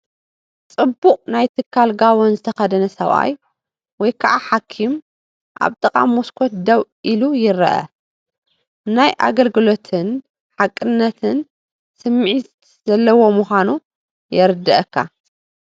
ጽቡቕ ናይ ትካል ጋቦን ዝተኸድነ ሰብኣይ ወይ ከዓ ሓኪም ኣብ ጥቓ መስኮት ደው ኢሉ ይርአ። ናይ ኣገልግሎትን ሓቅነትን ስምዒት ዘለዎ ምኳኑ የረደአካ።